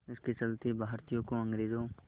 इसके चलते भारतीयों को अंग्रेज़ों